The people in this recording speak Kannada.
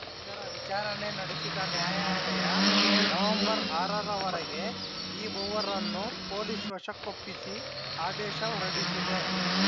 ಇದರ ವಿಚಾರಣೆ ನಡೆಸಿದ ನ್ಯಾಯಾಲಯ ನವೆಂಬರ್‌ ಆರ ರವರೆಗೆ ಈ ಮೂವರನ್ನೂ ಪೊಲೀಸ್‌ ವಶಕ್ಕೊಪ್ಪಿಸಿ ಆದೇಶ ಹೊರಡಿಸಿದೆ